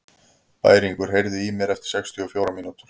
Bæringur, heyrðu í mér eftir sextíu og fjórar mínútur.